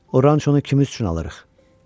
O rançonu kimin üçün alırıq?